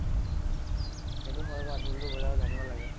সিতইটো হয় বাৰু। ঢোলটো বজাব জানিব লাগে।